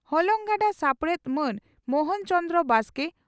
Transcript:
ᱦᱚᱞᱚᱝ ᱜᱟᱰᱟ ᱥᱟᱯᱲᱮᱛ ᱢᱟᱹᱱ ᱢᱚᱦᱚᱱ ᱪᱚᱱᱫᱨᱚ ᱵᱟᱥᱠᱮ